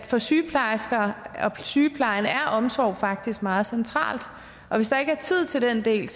for sygeplejersker og for sygeplejen er omsorg faktisk meget centralt og hvis der ikke er tid til den del